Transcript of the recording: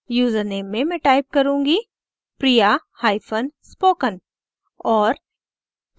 username में मैं type करुँगी: priyaspoken और